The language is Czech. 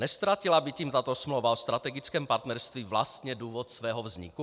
Neztratila by tím tato smlouva o strategickém partnerství vlastně důvod svého vzniku?